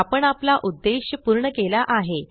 आपण आपला उद्देश पूर्ण केला आहे